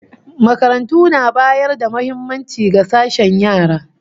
Makarantu na bayar da muhimmaci ga sashen yara